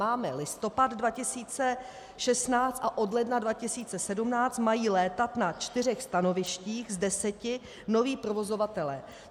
Máme listopad 2016 a od ledna 2017 mají létat na čtyřech stanovištích z deseti noví provozovatelé.